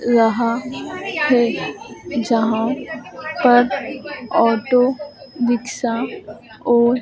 रहा है जहां पर ऑटो रिक्शा और--